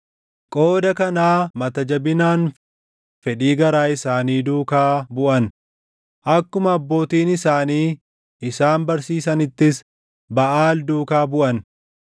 Qooda kanaa mata jabinaan fedhii garaa isaanii duukaa buʼan; akkuma abbootiin isaanii isaan barsiisanittis Baʼaal duukaa buʼan.”